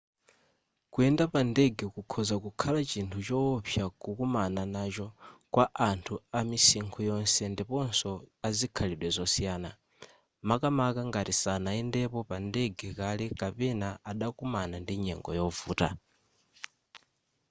kuyenda pa ndege kukhoza kukhala chinthu chowopsa kukumana nacho kwa anthu amisinkhu yonse ndiponso azikhalidwe zosiyana makamaka ngati sanayendepo pa ndege kale kapena adakumana ndi nyengo yovuta